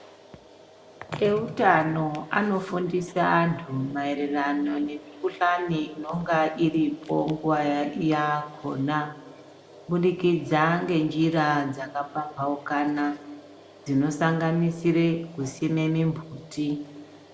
Eutano anofundisa antu maererano nemikuhlani inonga iripo nguva yakona, kubudikidza ngenjira dzakapamabukana, dzinosanganisire kusime mimbuti.